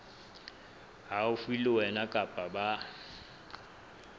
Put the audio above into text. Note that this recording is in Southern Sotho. haufi le wena kapa ba